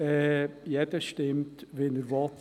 Jeder stimmt, wie er will;